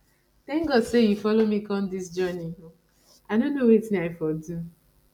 thank god say you follow me come dis journey i no know wetin i for do